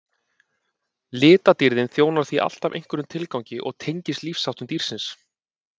litadýrðin þjónar því alltaf einhverjum tilgangi og tengist lífsháttum dýrsins